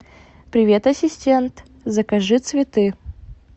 привет ассистент закажи цветы